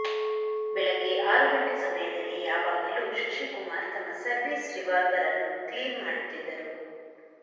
ಬೆಳಗ್ಗೆ ಆರು ಗಂಟೆ ಸಮಯದಲ್ಲಿ ಯಾವಾಗಲೂ ಶಶಿ ಕುಮಾರ್ ತಮ್ಮ ಸರ್ವೀಸ್ ರಿವಾಲ್ವರ್ ಅನ್ನು ಕ್ಲೀನ್ ಮಾಡುತ್ತಿದ್ದರು